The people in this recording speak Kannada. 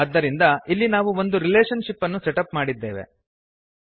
ಆದ್ದರಿಂದ ಇಲ್ಲಿ ನಾವು ಒಂದು ರಿಲೇಷನ್ ಶಿಪ್ ಅನ್ನು ಸೆಟಪ್ ಮಾಡಿದ್ದೇವೆ160